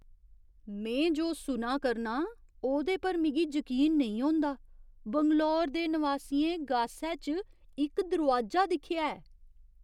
में जो सुना करनां ओह्दे पर मिगी जकीन नेईं होंदा! बैंगलोर दे नवासियें गासै च इक दरोआजा दिक्खेआ ऐ!